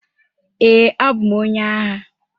Ee, abụ m onye agha.